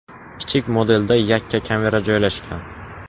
Kichik modelda yakka kamera joylashgan.